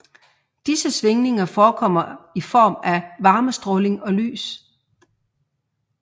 Disse svingninger forekommer i form af varmestråling og lys